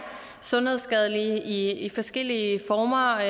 sundhedsskadelige i forskellige former og